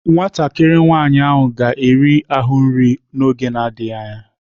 Nwatakịrị nwanyị ahụ ga-eri ahụ nri n'oge adịghị anya..